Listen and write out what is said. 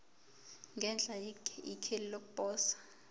ngenhla ikheli lokuposa